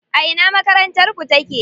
A ina makarantar ku take?